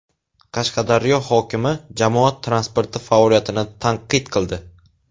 Qashqadaryo hokimi jamoat transporti faoliyatini tanqid qildi.